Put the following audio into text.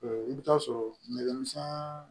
I bɛ taa sɔrɔ nɛgɛmisɛn